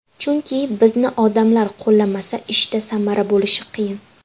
Chunki bizni odamlar qo‘llamasa ishda samara bo‘lishi qiyin.